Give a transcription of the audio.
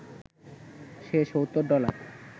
সে ৭০ dollar